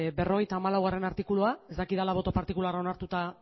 berrogeita hamalaugarrena artikulua ez dakidala boto partikularra onartuta